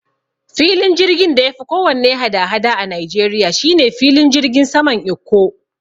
Filin jirgin da yafi kowanne hada-hada a Nigeria shine filin jirgin saman Ikko